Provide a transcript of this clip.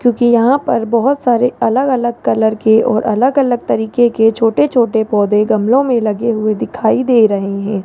जोकि यहां पर बहोत सारे अलग अलग कलर के और अलग अलग तरीके के छोटे छोटे पौधे गमले में लगे हुए दिखाई दे रहे हैं।